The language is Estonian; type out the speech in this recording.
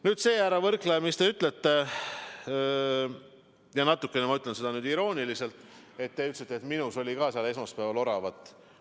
Nüüd see, härra Võrklaev, mis te ütlesite – ja ma olen nüüd natukene irooniline –, te ütlesite, et ka minus oli esmaspäeval oravat.